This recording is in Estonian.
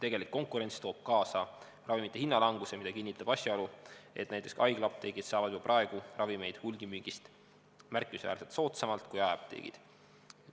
Tegelik konkurents toob kaasa ravimite hinnalanguse, mida kinnitab asjaolu, et näiteks haiglaapteegid saavad juba praegu ravimeid hulgimüügist märkimisväärselt soodsamalt kui jaeapteegid.